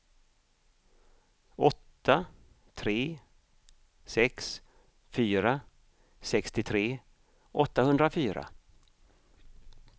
åtta tre sex fyra sextiotre åttahundrafyra